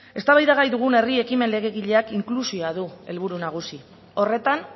eztabaidagai dugun herri ekimen legegileak inklusioa du helburu nagusi horretan